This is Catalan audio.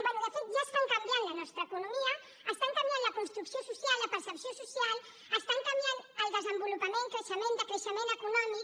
bé de fet ja estan canviant la nostra economia estan canviant la construcció social la percepció social estan canviant el desenvolupament creixement decreixement econòmic